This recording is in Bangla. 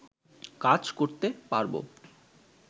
কাজ করতে পারব